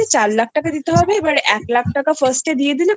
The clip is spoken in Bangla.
টাকা দিতে হবে এবার এক লক্ষ টাকা Firstএ দিয়ে দিলে